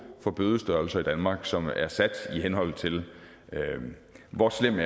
for bødestørrelser i danmark som er sat i henhold til hvor slem